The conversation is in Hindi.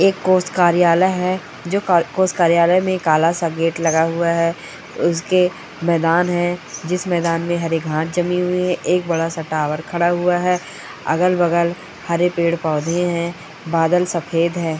एक कोष कार्यालय है जो का कोष कार्यालय में काला सा गेट लगा हुआ है उसके मैदान है जिस मैदान में हरे घास जमे हुए हैं एक बड़ा सा टॉवर खड़ा हुआ है अगल-बगल हरे पेड़ पौधे हैं बादल सफेद है।